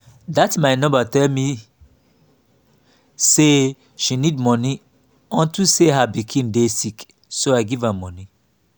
dat my neighbor tell me say she need money unto say her pikin dey sick so i give am money.